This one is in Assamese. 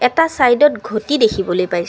এটা ছাইডত ঘটি দেখিবলৈ পাইছ--